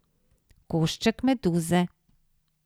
Košček meduze.